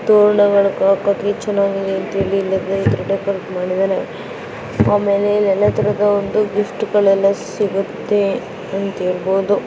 ಇಲ್ಲಿ Newman flowers and gift ಅಂತ board ಹಾಕಿದ್ದಾರೆ ಮತ್ತೆ ಇಲ್ಲಿ ಎಲ್ಲಾ ಫ್ಲವರ್ಸ್ ಪ್ಲಾಸ್ಟಿಕ್ ಹೂವಗಳನ್ನು ತೋರಣ ಆಮೇಲೆ ಎಲ್ಲ ತರದ ಒಂದು ಗಿಫ್ಟ್ಗಲೆಲ್ಲ ಸಿಗತ್ತೆ ಎಂದು ಇರಬಹುದು.